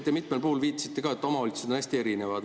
Te mitmel puhul viitasite ka, et omavalitsused on hästi erinevad.